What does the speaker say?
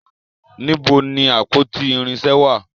Níbo ni àpótí irinṣẹ́ wà?